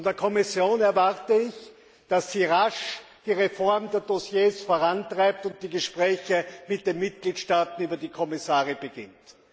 Von der Kommission erwarte ich, dass sie rasch die Reform der Dossiers vorantreibt und die Gespräche mit den Mitgliedstaaten über die Kommissare beginnt.